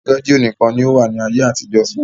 Rẹ́dio níkan ni ó wà ní ayé àtijó.